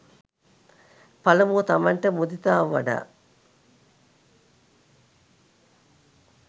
පළමුව තමන්ට මුදිතාව වඩා